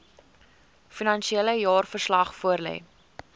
finansiële jaarverslag voorlê